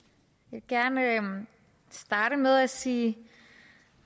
gerne starte med at sige